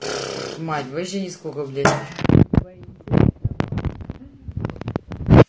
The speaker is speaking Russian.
мать даже сколько время